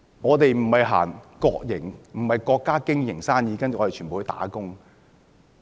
我們不是由國家經營生意，然後全部人都"打工"。